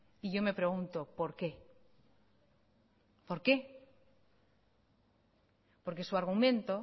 y yo me pregunto por qué por qué porque su argumento